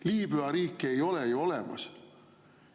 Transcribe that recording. Liibüa riiki ei ole ju olemas.